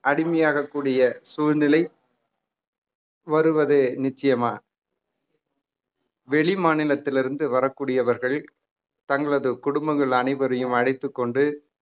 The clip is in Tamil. அடிமையாகக் கூடிய சூழ்நிலை வருவது நிச்சயமா வெளிமாநிலத்தில் இருந்து வரக்கூடியவர்கள் தங்களது குடும்பங்கள் அனைவரையும் அழைத்துக் கொண்டு